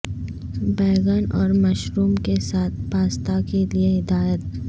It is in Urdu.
بینگن اور مشروم کے ساتھ پاستا کے لئے ہدایت